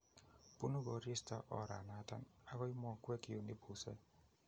Bune koristo oranoton akoi mokwek yon ibuse